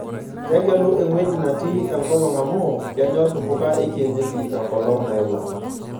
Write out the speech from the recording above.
Tegelu engueji natii enkolong' amu kenyor mbuka ekienyeji enkolong' nailang'.